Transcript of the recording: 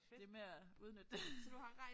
Det med at udnytte det